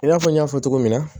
I n'a fɔ n y'a fɔ cogo min na